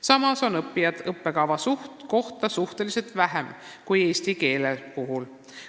Samas on õppijaid õppekava kohta suhteliselt vähem kui eesti keele puhul.